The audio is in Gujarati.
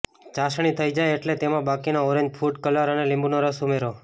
ચાસણી થઈ જાય એટલે તેમાં બાકીનો ઓરેન્જ ફુડ કલર અને લીંબુનો રસ ઉમેરો